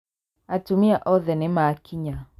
Atumia othe nĩmakinya